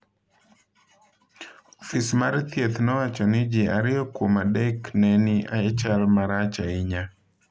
Ofis mar thieth nowacho ni ji ariyo kuom adek ne ni e chal marach ahinya.